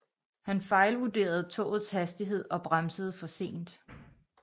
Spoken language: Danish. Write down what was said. Han fejlvurderede togets hastighed og bremsede for sent